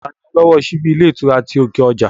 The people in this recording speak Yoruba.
Taa ni ọlọ́wọ́ ọ síbí ilé ìtura ti òkè ọjà?